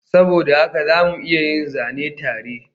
Saboda haka za mu iya yin zane tare